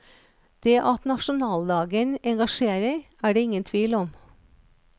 Det at nasjonaldagen engasjerer, er det ingen tvil om.